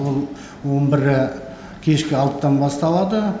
ол он бірі кешкі алтыдан басталады